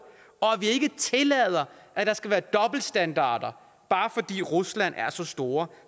og vi ikke tillader at der skal være dobbeltstandarder bare fordi rusland er så stort